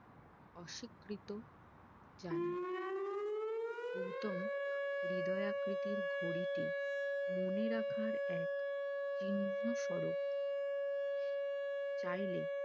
অস্বীকৃত জানাই গৌতম হৃদয় আকৃতির ঘড়িটি মনে রাখার এক চিহ্ন স্বরূপ চাইলে